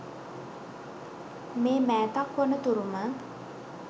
මේ මෑතක් වන තුරුම